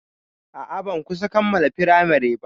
A'a, ban kusan kammala firamari ba.